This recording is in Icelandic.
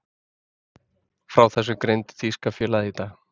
Frá þessu greindi þýska félagið í dag.